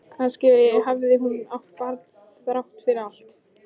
Kannski hafði hún átt barn þrátt fyrir allt.